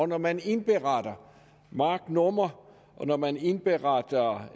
når man indberetter marknummer og når man indberetter